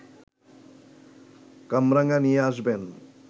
কামরাঙা নিয়ে আসবেন